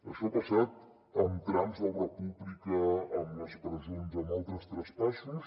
això ha passat amb trams d’obra pública amb les presons amb altres traspassos